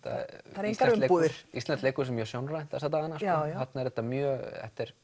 það eru engar umbúðir Íslenskt leikhús er mjög sjónrænt þessa dagana þarna er þetta mjög